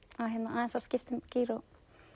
aðeins að skipta um gír og